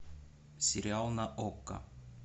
сериал на окко